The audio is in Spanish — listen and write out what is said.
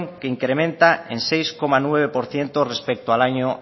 que incrementa en seis coma nueve por ciento respecto al año